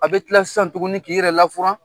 A bɛ kila sisan tuguni k'i yɛrɛ lafuran.